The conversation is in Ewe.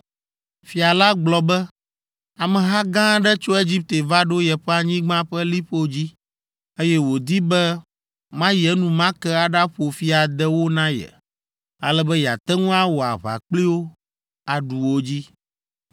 Fia la gblɔ be, ameha gã aɖe tso Egipte va ɖo yeƒe anyigba ƒe liƒo dzi, eye wòdi be mayi enumake aɖaƒo fi ade wo na ye, ale be yeate ŋu awɔ aʋa kpli wo, aɖu wo dzi.”